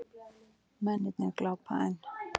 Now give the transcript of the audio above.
Mennirnir glápa enn.